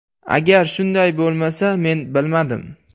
Agar shunday bo‘lmasa, men bilmadim.